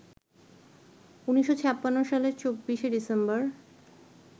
১৯৫৬ সালের ২৪ ডিসেম্বর